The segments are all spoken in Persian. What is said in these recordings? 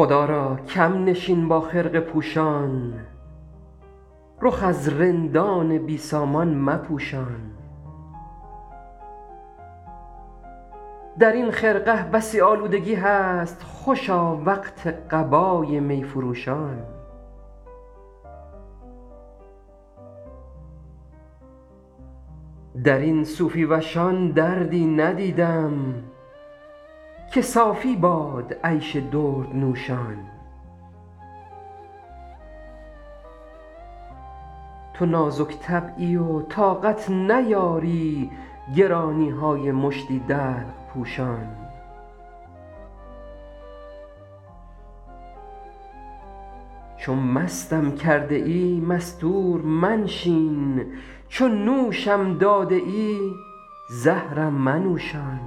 خدا را کم نشین با خرقه پوشان رخ از رندان بی سامان مپوشان در این خرقه بسی آلودگی هست خوشا وقت قبای می فروشان در این صوفی وشان دردی ندیدم که صافی باد عیش دردنوشان تو نازک طبعی و طاقت نیاری گرانی های مشتی دلق پوشان چو مستم کرده ای مستور منشین چو نوشم داده ای زهرم منوشان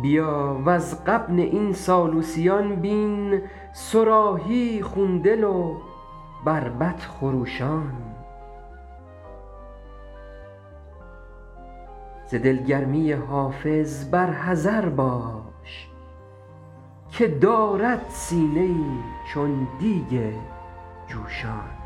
بیا وز غبن این سالوسیان بین صراحی خون دل و بربط خروشان ز دلگرمی حافظ بر حذر باش که دارد سینه ای چون دیگ جوشان